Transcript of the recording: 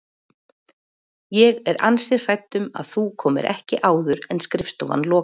Ég er ansi hrædd um að þú komir ekki áður en skrifstofan lokar